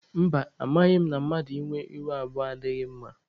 Mba, amaghị m na mmadụ ịnwe ihu abụọ adịghị mma.